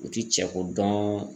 U ti cɛko dɔn